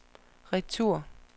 retur